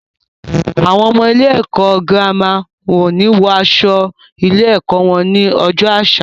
Àwọn ọmọ ilé ẹ̀kọ́ girama o ni wọ aṣọ ilé ẹ̀kọ́ wọn ni ọjọ́ àṣà